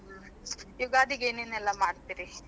ಯುಗಾದಿಗೆ ಏನೆನೆಲ್ಲಾ ಮಾಡ್ತೀರಿ?